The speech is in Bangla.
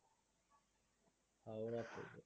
হাওড়া থেকে